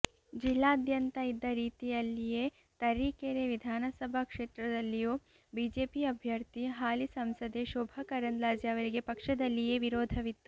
ಜಿಲ್ಲಾದ್ಯಂತ ಇದ್ದ ರೀತಿಯಲ್ಲಿಯೇ ತರೀಕೆರೆ ವಿಧಾನಸಭಾ ಕ್ಷೇತ್ರದಲ್ಲಿಯೂ ಬಿಜೆಪಿ ಅಭ್ಯರ್ಥಿ ಹಾಲಿ ಸಂಸದೆ ಶೋಭಾ ಕರಂದ್ಲಾಜೆ ಅವರಿಗೆ ಪಕ್ಷದಲ್ಲಿಯೇ ವಿರೋಧವಿತ್ತು